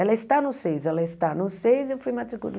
Ela está no seis, ela está no seis, eu fui